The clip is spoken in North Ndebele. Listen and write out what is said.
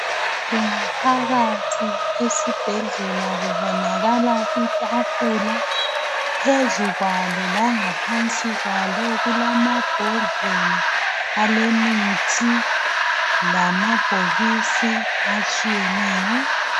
Kungaphakathi esibhedlela kubonakala itafula phezu kwalo langaphansi kwalo kulamabhodlela alemithi lamabhokisi atshiyeneyo.